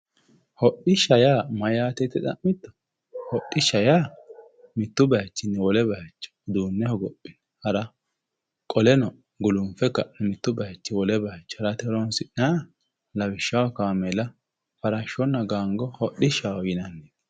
Hodhishsha yaa mayate yite xa'mitto hodhishsha yaa mitu bayichinni wole bayicho uduune hogophine hara qoleno gulunfe mitu bayichinni wole bayicho ha'nanniha lawishshaho Gango, kaameella, Farasho hodhishshaho yinnanni.